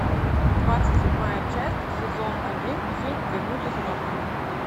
двадцать седьмая часть сезон один фильм вернуть из мертвых